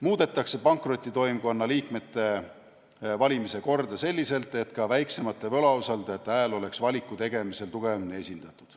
Muudetakse pankrotitoimkonna liikmete valimise korda selliselt, et ka väiksemate võlausaldajate hääl oleks valiku tegemisel tugevamini esindatud.